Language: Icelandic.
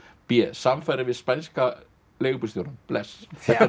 b samfarir við spænskan leigubílstjórann bless